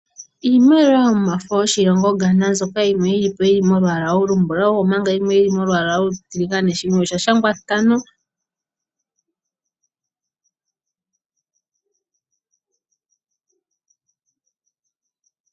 Iimaliwa yomafo yoshilongo Ghana nzoka yimwe yilipo yili molwaala olumbulawu omanga yimwe yili molwaala olutiligane shimwe osha shangwa ntano.